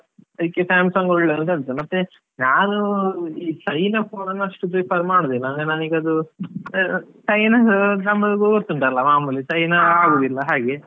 ಇದ್ಕೆ Samsung ಒಳ್ಳೇದು ಅಂತ ಹೇಳ್ತಾರೆ, ಮತ್ತೆ ನಾನು ಈ China phone ಅಷ್ಟು prefer ಮಾಡುದಿಲ್ಲ ನನಿಗ್ ಅದು ಅದು China ನಮಗು ಗೊತ್ತುಂಟಲ್ಲ, ಮಾಮೂಲಿ China ಆಗುದಿಲ್ಲ ಹಾಗೆ.